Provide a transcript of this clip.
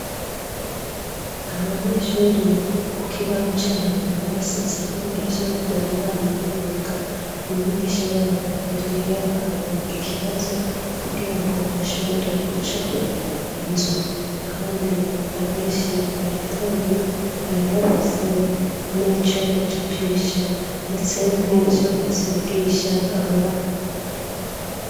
Abanyeshuri ku kibaho cabo basizeho ivyo bari bamye biga. Umwigisha wabo yari yabahaye ikibazo kugira ngo bashobore gucapa inzu kandi abenshi bayitoye, bari bafise n'ico bacapisha, ndetse n'ico basigisha amabara.